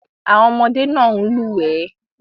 Àwọn ọmọdé náà ń lúwẹ̀ẹ́.